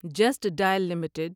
just Dial limited